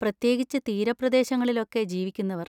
പ്രത്യേകിച്ച് തീരപ്രദേശങ്ങളിലൊക്കെ ജീവിക്കുന്നവർ.